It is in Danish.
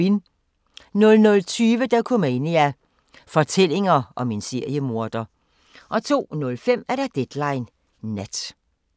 00:20: Dokumania: Fortællinger om en seriemorder 02:05: Deadline Nat